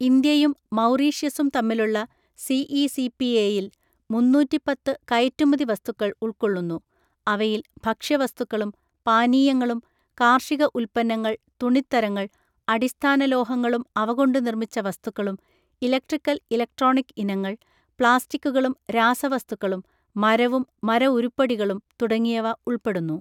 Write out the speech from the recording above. ഇന്ത്യയും മൗറീഷ്യസും തമ്മിലുള്ള സിഇസിപിഎയിൽ മുന്നൂറ്റി പത്തു കയറ്റുമതി വസ്തുക്കൾ ഉൾക്കൊള്ളുന്നു. അവയിൽ ഭക്ഷ്യവസ്തുക്കളും പാനീയങ്ങളും, കാർഷിക ഉല്പന്നങ്ങൾ , തുണിത്തരങ്ങൾ , അടിസ്ഥാന ലോഹങ്ങളും അവ കൊണ്ട് നിർമ്മിച്ച വസ്തുക്കളും, ഇലക്ട്രിക്കൽ ഇലക്ട്രോണിക് ഇനങ്ങൾ , പ്ലാസ്റ്റിക്കുകളും രാസവസ്തുക്കളും, മരവും മരഉരുപ്പടികളും, തുടങ്ങിയവ ഉൾപ്പെടുന്നു .